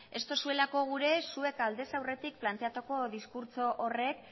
ez duzuelako gure zuek aldez aurretik planteatuko diskurtso horrek